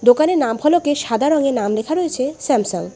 দোকানের নাম ফলকে সাদা রঙে নাম লেখা রয়েছে স্যামসাং ।